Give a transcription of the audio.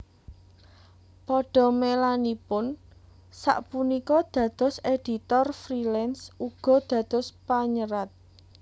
Padamelanipun sak punika dados editor freelance uga dados panyerat